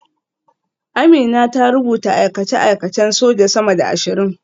Amina ta rubuta aikace-aikacen soja sama da ashirin